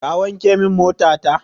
Ka wanke min mota ta!